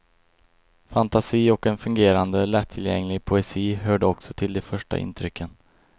Fantasi och en fungerande, lättillgänglig poesi hörde också till de första intrycken.